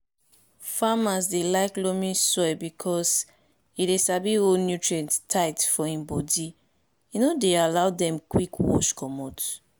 farmers dey like loamy soil because e dey sabi hold nutrients tight for im body e no dey allow dem quick wash comot